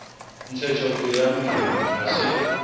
ntshetsopele ya molemi ha se